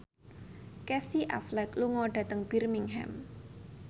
Casey Affleck lunga dhateng Birmingham